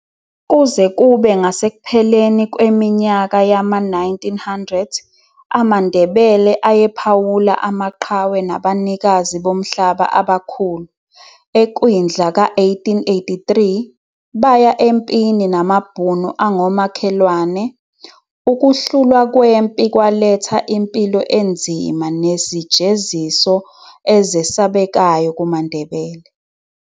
Kuze kube ngasekupheleni kweminyaka yama-1900, amaNdebele ayephawula amaqhawe nabanikazi bomhlaba abakhulu. Ekwindla ka-1883, baya empini namabhunu angomakhelwane. Ukuhlulwa kwempi kwaletha impilo enzima nezijeziso ezesabekayo kumaNdebele.